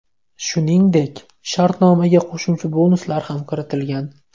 Shuningdek, shartnomaga qo‘shimcha bonuslar ham kiritilgan.